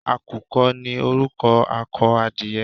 Àkùkọ ni orúkọ akọ adìyẹ.